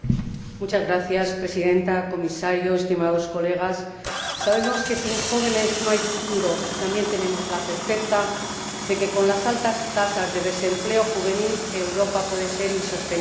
Señora Presidenta, Comisario, estimados colegas, sabemos que sin jóvenes no hay futuro y también tenemos la certeza de que, con las altas tasas de desempleo juvenil, Europa puede ser insostenible.